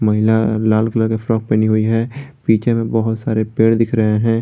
ल लाल कलर का फ्रॉक पहनी हुई है पीछे में बहोत सारे पेड़ दिख रहे हैं।